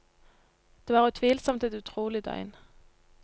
Det var utvilsomt et utrolig døgn.